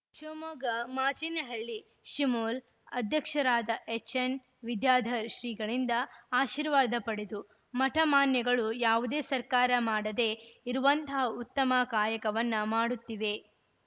ಶಿವಮೊಗ್ಗ ಮಾಚಿನೆಹಳ್ಳಿ ಶಿಮುಲ್‌ ಅಧ್ಯಕ್ಷರಾದ ಎಚ್‌ಎನ್‌ ವಿದ್ಯಾಧರ್‌ ಶ್ರೀಗಳಿಂದ ಆಶಿರ್ವಾದ ಪಡೆದು ಮಠ ಮಾನ್ಯಗಳು ಯಾವುದೇ ಸರ್ಕಾರ ಮಾಡದೆ ಇರುವಂತಹ ಉತ್ತಮ ಕಾಯಕವನ್ನ ಮಾಡುತ್ತಿವೆ